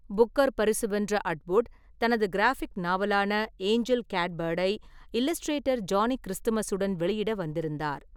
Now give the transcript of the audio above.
Booker பரிசு வென்ற Atwood, தனது கிராஃபிக் நாவலான ஏஞ்சல் கேட்பேர்ட் ஐ இல்லஸ்ட்ரேட்டர் ஜானி கிறிஸ்துமஸ் உடன் வெளியிட வந்திருந்தார்.